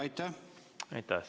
Aitäh!